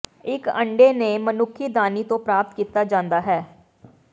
ਇੱਕ ਅੰਡੇ ਨੂੰ ਮਨੁੱਖੀ ਦਾਨੀ ਤੋਂ ਪ੍ਰਾਪਤ ਕੀਤਾ ਜਾਂਦਾ ਹੈ